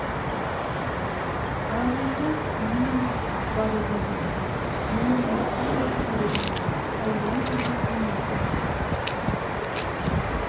қарауылға түйе мініп барудың реті жоқ мұны масыл ғып керегі не қайдан келген немесің сен сияқтыны